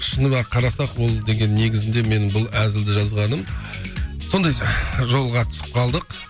шынында қарасақ ол деген негізінде мен бұл әзілді жазғаным сондай жолға түсіп қалдық